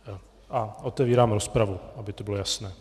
A otevírám rozpravu, aby to bylo jasné.